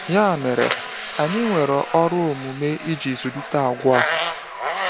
Ya mere, anyị nwere ọrụ omume iji zụlite àgwà a.